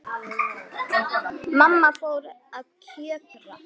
Mamma fór að kjökra.